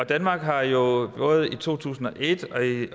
danmark har jo både i to tusind og et